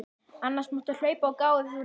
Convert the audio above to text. Annars máttu hlaupa og gá ef þú nennir.